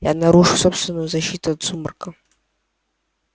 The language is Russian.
я нарушил собственную защиту от сумрака